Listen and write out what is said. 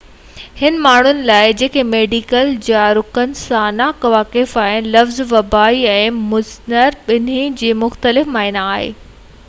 انهن ماڻهن لاءِ جيڪي ميڊيڪل جارگن سان نا واقف آهن لفظ وبائي ۽ مُضر ٻنهي جي مختلف معني آهي